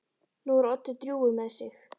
Nú er Doddi drjúgur með sig.